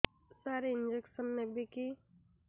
ସାର injection ନେବିକି